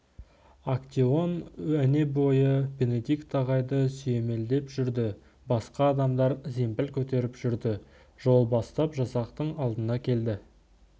актеон өнебойы бенедикт ағайды сүйемелдеп жүрді басқа адамдар зембіл көтеріп жүрді жол бастап жасақтың алдында келе